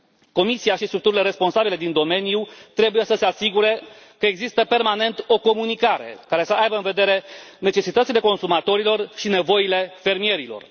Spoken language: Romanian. Comisia și structurile responsabile din domeniu trebuie să se asigure că există permanent o comunicare care să aibă în vedere necesitățile consumatorilor și nevoile fermierilor.